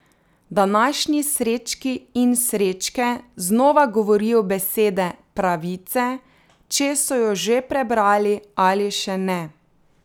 Današnji Srečki in Srečke znova govorijo besede Pravice, če so jo že prebrali ali še ne.